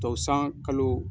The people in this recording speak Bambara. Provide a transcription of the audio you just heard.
Tɔw san kalo